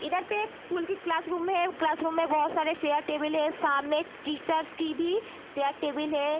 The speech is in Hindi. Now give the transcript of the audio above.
इधर पे एक स्कूल की क्लासरूम है क्लासरूम में बहोत सारे चेयर टेबल हैं सामने एक टीचर्स की भी शायद टेबल है।